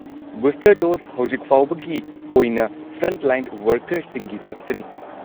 Booster dose ꯍꯧꯖꯤꯛꯐꯥꯎꯕꯒꯤ ꯑꯣꯏꯅ frontline ꯋꯔꯀꯔꯁꯤꯡꯒꯤ ꯈꯛꯇꯅꯤ꯫